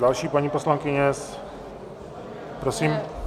Další - paní poslankyně, prosím.